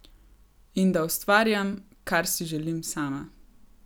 In da ustvarjam, kar si želim sama.